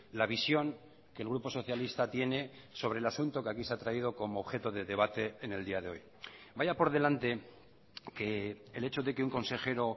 la visión que el grupo socialista tiene sobre el asunto que aquí se ha traído como objeto de debate en el día de hoy vaya por delante que el hecho de que un consejero